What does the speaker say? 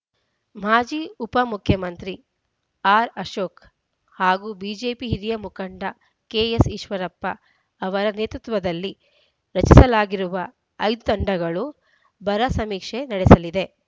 ಮಾಜಿ ಉಪಮುಖ್ಯಮಂತ್ರಿ ಆರ್‌ಅಶೋಕ್‌ ಹಾಗೂ ಬಿಜೆಪಿ ಹಿರಿಯ ಮುಖಂಡ ಕೆಎಸ್‌ಈಶ್ವರಪ್ಪ ಅವರ ನೇತೃತ್ವದಲ್ಲಿ ರಚಿಸಲಾಗಿರುವ ಐದು ತಂಡಗಳು ಬರ ಸಮೀಕ್ಷೆ ನಡೆಸಲಿದೆ